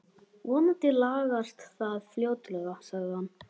Vonandi lagast það fljótlega sagði hann.